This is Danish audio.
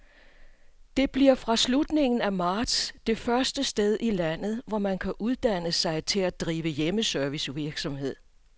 Det bliver fra slutningen af marts det første sted i landet, hvor man kan uddanne sig til at drive hjemmeservicevirksomhed.